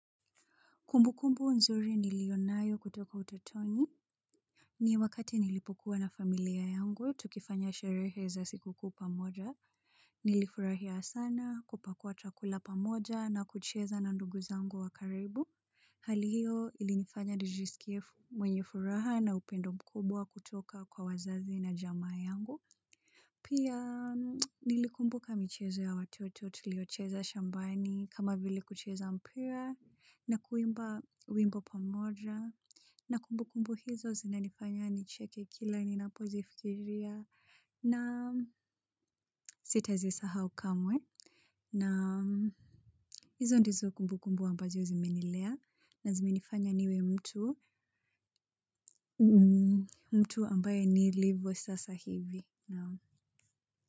Kumbukumbu nzuri nilionayo kutoka utotoni ni wakati nilipokuwa na familia yangu tukifanya sherehe za sikukuu pamoja. Nilifurahia sana kupakua chakula pamoja na kucheza na ndugu zangu wa karibu. Hali hiyo ilinifanya nijisikie mwenye furaha na upendo mkubwa kutoka kwa wazazi na jamaa yangu. Pia nilikumbuka michezo ya watoto tuliocheza shambani kama vile kucheza mpira na kuimba wimbo pamoja na kumbukumbu hizo zinanifanya nicheke kila ninapozifikiria na sitazisahau kamwe na hizo ndizo kumbukumbu ambazo zimenilea na zimenifanya niwe mtu mtu ambaye nilivosasa hivi, naam.